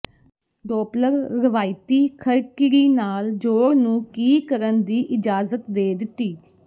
Doppler ਰਵਾਇਤੀ ਖਰਕਿਰੀ ਨਾਲ ਜੋੜ ਨੂੰ ਕੀ ਕਰਨ ਦੀ ਇਜਾਜ਼ਤ ਦੇ ਦਿੱਤੀ